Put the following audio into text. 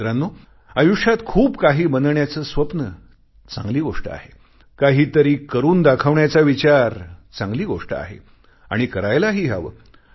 मित्रांनो आयुष्यात खूपकाही बनण्याचे स्वप्न चांगली गोष्ट आहे काही तरी करून दाखवण्याचा विचार चांगली गोष्ट आहे आणि करायलाही हवे